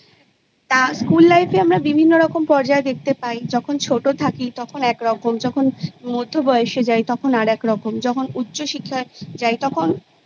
তা School Life এ আমরা বিভিন্ন রকম পর্যায় দেখতে পাই যখন ছোট থাকি তখন একরকম যখন মধ্যবয়সে যাই তখন আর একরকম যখন উচ্চ শিক্ষায় যাই তখন